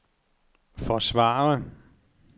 forsvare